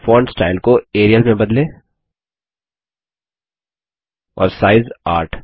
और font style को Arial में बदलें और साइज 8